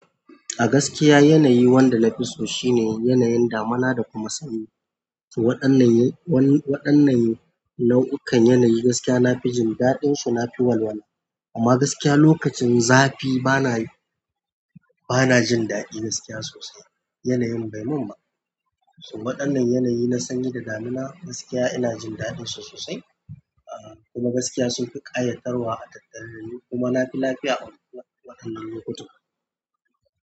A gaskiya yanayi wanda na fi so shine yanayin damina da kuma sanyi. To waɗannan nau'ikan yanayi gaskiya nafi jin daɗi ln su nafi walwala amma gaskiya lokacin zafi bana, bana jin daɗi gaskiya sosai. Yanayin bai mun ba. To waɗannan yanayi na sanyi da damina gaskiya ina jin daɗin su sosai. Kuma gaskiya sun fi ƙayatarwa a tattalin ayuka kuma na fi lafiya a waɗannan lokuta.